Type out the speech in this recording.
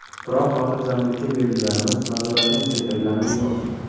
Biroq xotirjamlikka berilganimiz, nazoratni susaytirganimiz yo‘q.